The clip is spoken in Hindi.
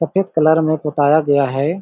सफ़ेद कलर में पोताया गया हैं ।